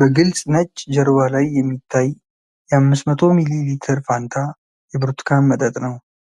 በግልፅ ነጭ ጀርባ ላይ የሚታይ የ500 ሚሊ ሊትር ፋንታ የብርቱካን መጠጥ ነው።